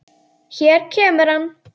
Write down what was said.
Hér kemur hann.